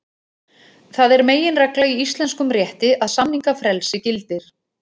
Það er meginregla í íslenskum rétti að samningafrelsi gildir.